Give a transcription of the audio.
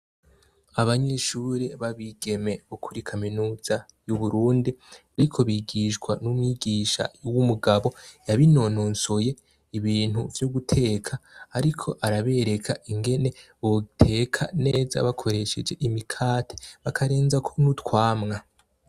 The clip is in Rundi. Abanyishuri babigeme ukuri kaminuza y'uburundi, ariko bigishwa n'umwigisha y'wo umugabo yabinononsoye ibintu vyo guteka, ariko arabereka ingene buteka neza bakoresheje imikate bakarenza kuni utwamwa.